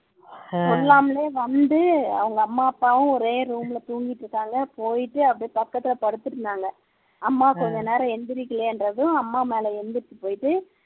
சொல்லாமலே வந்து அவங்க அம்மா அப்பாவும் ஒரே room ல தூங்கிகிட்டு இருக்காங்க போயிட்டு அப்படியே பக்கத்துல படுத்துட்டுருந்தாங்க அம்மா கொஞ்சநேரம் எழுந்திரிக்கலையேன்னதும் அம்மா மேல எழுந்திரிச்சு போயிட்டு